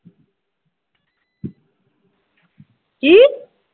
ਕਿ